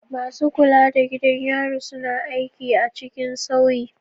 Masu kula da gidan yari suna aiki a cikin sauyi.